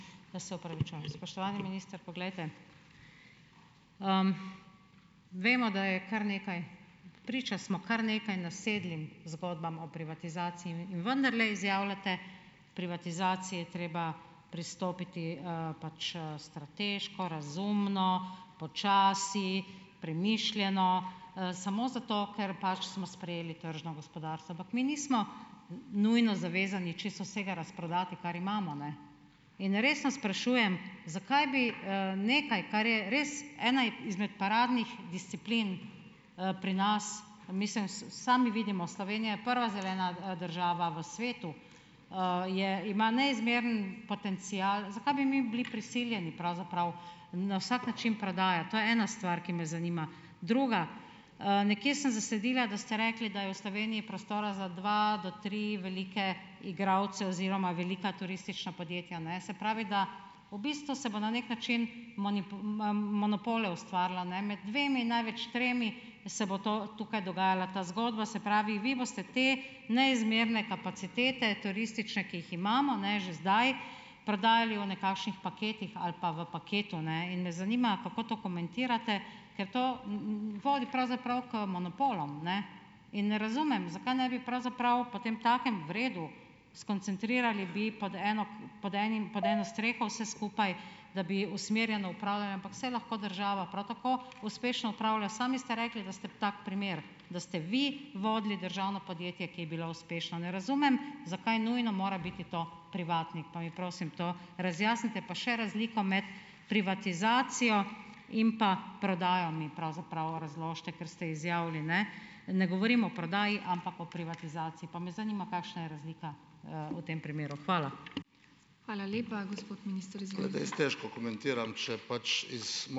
Jaz se opravičujem. Spoštovani minister, poglejte. vemo, da je kar nekaj, priča smo kar nekaj nasedlim zgodbam o privatizaciji in vendarle izjavljate k privatizaciji je treba pristopiti, pač, strateško, razumno, počasi, premišljeno, samo zato, ker pač smo sprejeli tržno gospodarstvo. Ampak mi nismo nujno zavezani čisto vsega razprodati, kar imamo, ne. In resno sprašujem, zakaj bi, nekaj, kar je res ena izmed paradnih disciplin, pri nas, mislim sami vidimo, Slovenija je prva zelena, država v svetu. je, ima neizmeren potencial. Zakaj bi mi bili prisiljeni pravzaprav na vsak način prodajati? To je ena stvar, ki me zanima. Druga. nekje sem zasledila, da ste rekli, da je v Sloveniji prostora za dva do tri velike igralce oziroma velika turistična podjetja, ne. Se pravi, da v bistvu se bo na neki način monopole ustvarilo ne, med dvema, največ tremi se bo to, tukaj dogajala ta zgodba. Se pravi, vi boste te neizmerne kapacitete turistične, ki jih imamo, ne, že zdaj prodajali v nekakšnih paketih ali pa v paketu, ne, in me zanima, kako to komentirate. Ker to vodi pravzaprav k monopolom, ne. In ne razumem, zakaj ne bi pravzaprav potemtakem, v redu, skoncentrirali bi pod eno, pod enim, pod eno streho vse skupaj, da bi usmerjeno upravljali, ampak saj lahko država prav tako uspešno upravlja. Sami ste rekli, da ste tak primer, da ste vi vodili državno podjetje, ki je bilo uspešno. Ne razumem, zakaj nujno mora biti to privatnik? Pa mi prosim to razjasnite. Pa še razliko med privatizacijo in pa prodajo mi pravzaprav razložite, ker ste izjavili, ne. Ne govorim o prodaji, ampak o privatizaciji , pa me zanima, kakšna je razlika, v tem primeru. Hvala.